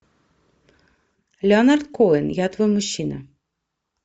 леонард коэн я твой мужчина